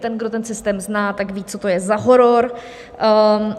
Ten, kdo ten systém zná, tak ví, co to je za horor.